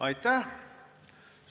Aitäh!